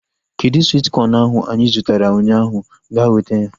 Kedụ swit kọn ahu anyị zụtara ụnyaahụ? Ga weta ya!